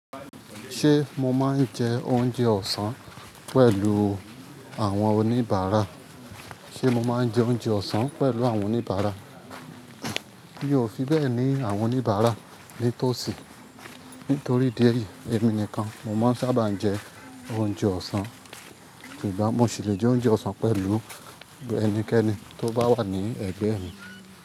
Ṣé mo máa ń jẹ oúnjẹ ọ̀sán pẹ̀lú àwọn oníbàárà? Ṣé mo máa ń jẹ oúnjẹ ọ̀sán pẹ̀lú àwọn oníbàárà? Mi ò fi bẹ́ẹ̀ ni àwọn oníbàárà ní tòsí. Nítorí díẹ̀ yìí, èmi nìkan mo máa ń sábà jẹ oúnjẹ ọ̀sán. Sugbon mo sì lè jẹ oúnjẹ ọ̀sán pẹ̀lú ẹnikẹ́ni tó bá wà ní ẹ̀gbẹ́ mi.